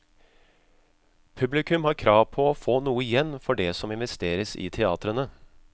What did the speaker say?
Publikum har krav på å få noe igjen for det som investeres i teatrene.